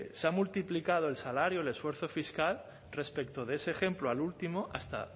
se ha multiplicado el salario el esfuerzo fiscal respecto de ese ejemplo al último hasta